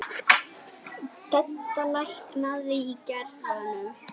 Dedda, lækkaðu í græjunum.